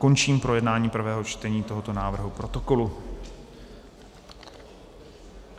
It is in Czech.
Končím projednávání prvého čtení tohoto návrhu protokolu.